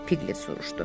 Piglet soruşdu.